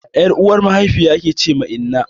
Ƴar uwar mahaifiya ake wace inna